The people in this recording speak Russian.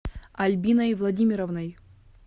альбиной владимировной